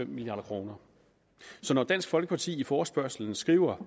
milliard kroner så når dansk folkeparti i forespørgslen skriver